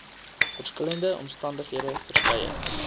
verskillende omstandighede verskeie